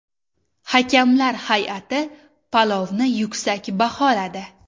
Hakamlar hay’ati palovni yuksak baholadi.